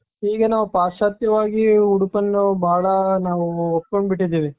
ಈಗ ನಾವು ಪಾಶ್ಚಾತ್ಯವಾಗಿ ಉಡುಪನ್ನ ನಾವು ಬಹಳ ನಾವು ಒಪ್ಕೊಂಡ್ಬಿಟ್ಟಿದ್ದೀವಿ.